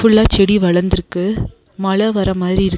ஃபுல்லா செடி வளந்துருக்கு மழ வர மாரி இருக்--